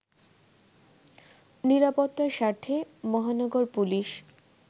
নিরাপত্তার স্বার্থে মহানগর পুলিশ